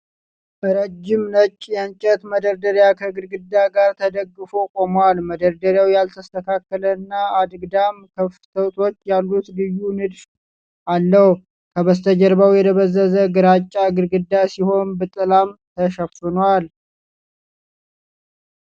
ረጅም፣ ነጭ፣ የእንጨት መደርደሪያ ከግድግዳ ጋር ተደግፎ ቆሟል። መደርደሪያው ያልተስተካከለ እና አግድም ክፍተቶች ያሉት ልዩ ንድፍ አለው። ከበስተጀርባው የደበዘዘ ግራጫ ግድግዳ ሲሆን በጥላም ተሸፍኗል።